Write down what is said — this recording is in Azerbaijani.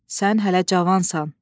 sən hələ cavansan.